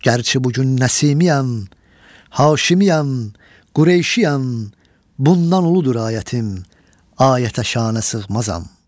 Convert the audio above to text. Gərçi bugün Nəsimiyəm, Haşimiyəm, Qureyşiyəm, bundan uludur ayətim, ayətə şanə sığmazam.